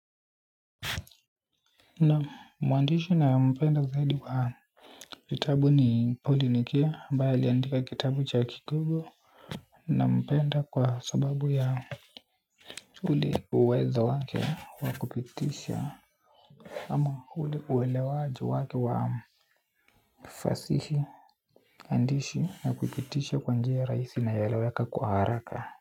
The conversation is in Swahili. Naam muandishi ninaempenda zaidi kwa kitabu ni polinikia mbae liandika kitabu cha kikogo na mpenda kwa sababu ya ule uwezo wake wakupitisha ama ule uelewa jo wake wa fasishi andishi na kupitisha kwa njia ya rahisi na inayoeleweka kwa haraka.